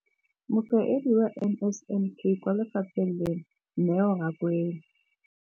Mokaedi wa NSNP kwa lefapheng leno, Neo Rakwena.